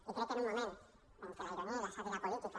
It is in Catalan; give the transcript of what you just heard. i crec que en un moment en què la ironia i la sàtira política